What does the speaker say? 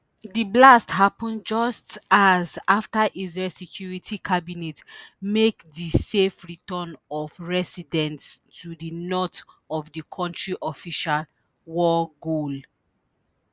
di blasts happun just hours after israel security cabinet make di safe return of residents to di north of the country official war goal